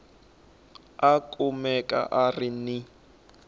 a kumeka a ri ni